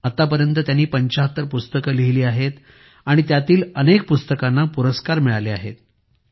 त्यांनी आतापर्यंत 75 पुस्तके लिहिली आहेत आणि त्यातील अनेक पुस्तकांना पुरस्कार मिळाले आहेत